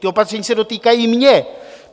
Ta opatření se dotýkají mě.